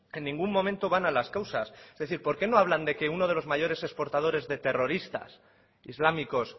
en ningún momento van a las causas es decir por qué no hablan de que uno de los mayores exportadores de terroristas islámicos